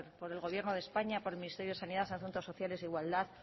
por el gobierno de españa por el ministerio de sanidad asuntos sociales e igualdad